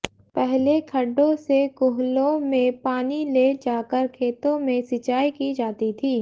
पहले खड्डों से कुहलों में पानी ले जाकर खेतों में सिंचाई की जाती थी